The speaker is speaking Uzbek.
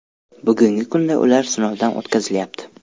Bugungi kunda ular sinovdan o‘tkazilyapti.